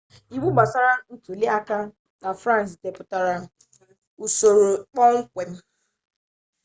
iwu gbasara ntuliaka na frans depụtara usoro ikpe kpọmkwem